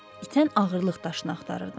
İtən ağırlıq daşını axtarırdım.